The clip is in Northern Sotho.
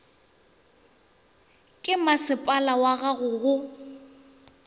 ke masepala wag ago go